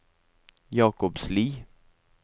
Jakobsli